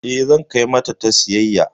Eh zan kai mata ta siyayya.